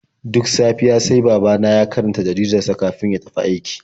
Duk safiya sai babana ya karanta jaridar sa kafin ya tafi aiki.